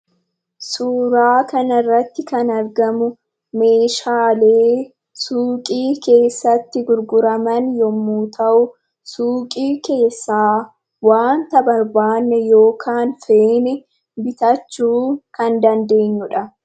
Suuraa kana irratti kan argamu meeshaalee suuqii keessatti gurguraman yemmuu ta'u, suuqii keessaa waanta barbaadne yookaan feene bitachuu kan dandeenyudha.